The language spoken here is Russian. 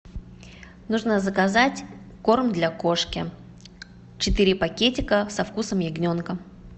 нужно заказать корм для кошки четыре пакетика со вкусом ягненка